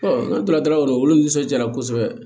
n'an tora dalaw olu nisɔnjaara kosɛbɛ